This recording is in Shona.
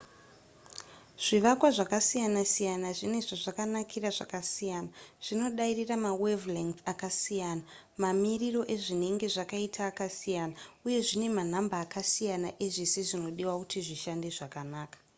zvivakwa zvakasiyana siyana zvine zvazvakanakira zvakasiyana zvinodairira mawave-length akasiyana mamiriro azvinenge zvakaita akasiyana uye zvine manhamba akasiyana ezvese zvinodiwa kuti zvishande zvakanaka